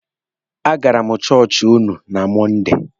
A gara m na chọọchị ụnụ na Mọnde.